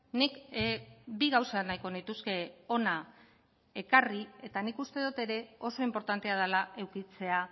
nik bi gauza nahiko nituzke hona ekarri eta nik uste dut ere oso inportantea dela edukitzea